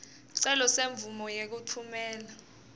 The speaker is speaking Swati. sicelo semvumo yekutfumela